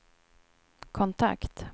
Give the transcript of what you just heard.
kontakt